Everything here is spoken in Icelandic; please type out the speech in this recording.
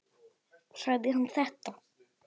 Sagði hann þetta?